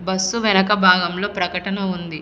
Bus వెనక భాగంలో ప్రకటన ఉంది.